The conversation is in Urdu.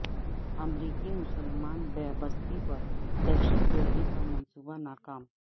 امریکی مسلمان بستی پر دہشت گردی کا منصوبہ ناکام